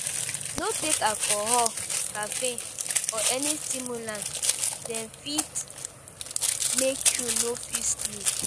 No take alcohol, caffeine or any stimulant, dem fit make you no fit sleep